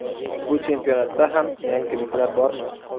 Bu chempionatda ham yangiliklar bormi?